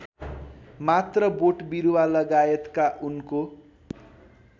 मात्र बोटबिरुवालगायतका उनको